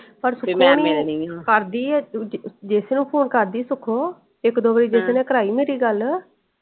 ਕਰਦੀ ਏ ਜੈਸੇ ਨੂੰ phone ਕਰਦੀ ਏ ਸੁਖੋ ਇਕ ਦੋ ਵਾਰੀ ਜੈਸੇ ਨੇ ਕਰਾਈ ਮੇਰੀ ਗੱਲ।